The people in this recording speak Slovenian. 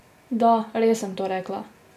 Da, res sem to rekla!